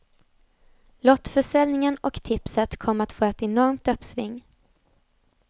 Lottförsäljningen och tipset kommer att få ett enormt uppsving.